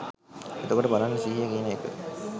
එතකොට බලන්න සිහිය කියන එක